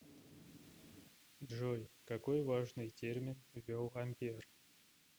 джой какой важный термин ввел ампер